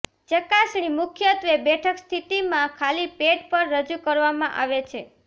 ચકાસણી મુખ્યત્વે બેઠક સ્થિતિમાં ખાલી પેટ પર રજૂ કરવામાં આવે છે